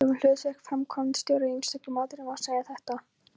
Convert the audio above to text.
Um hlutverk framkvæmdastjóra í einstökum atriðum má segja þetta